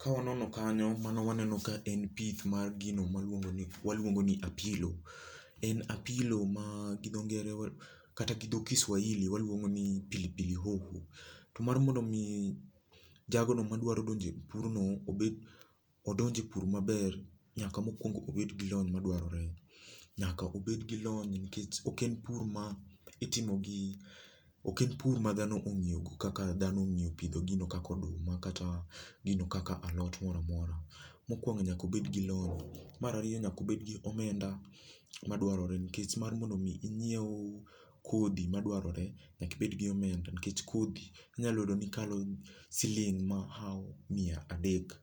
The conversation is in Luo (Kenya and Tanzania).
Ka wanono kanyo, mano waneno ni ma en pith mar gima waluongo ni apilo, en apilo ma gi dho ngere waluongo ni kata gidho Kiswahili waluongo ni pili pili hoho. To mar mondomi jagono madwqro donjo e purno mondo odonj e pur maber nyaka mokuongo obed gi lony madwarore. Nyaka obed gi lony nikech ok en pur ma itimo gi ok en pur ma dhano ong'iyogo, kaka dhano ong'iyo pidho gino kaka oduma, kata gino kaka alot moro amora. Mokuongo nyaka obed gi lony, mar ariyo nyaka obed gi omenda, madwarore nikech mar mondo mi nyiew kodhi madwarore nyaka ibed gi omenda nikech kodhi inyalo yudo ni kalo siling' mahawo miya adek.